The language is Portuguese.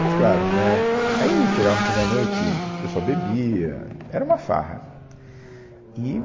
Mas claro, né, aí chegava no fim da noite, o pessoal bebia, era uma farra. E...